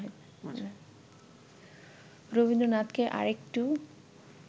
রবীন্দ্রনাথকে আরেকটু